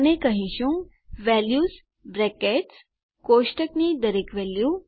અને કહીશું values brackets કોષ્ટકની દરેક વેલ્યુ